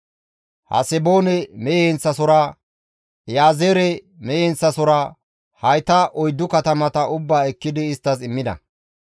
Haseboone mehe heenththasohora, Iyaazeere mehe heenththasohora, hayta oyddu katamata ubbaa ekkidi isttas immida.